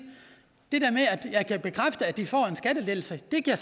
jeg kan bekræfte at de får en skattelettelse det kan